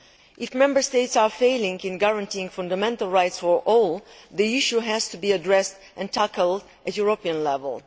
If Member States are failing to guarantee fundamental rights for all, the issue has to be addressed and tackled at European level.